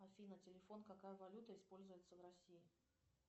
афина телефон какая валюта используется в россии